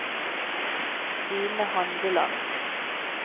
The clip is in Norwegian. Stine Handeland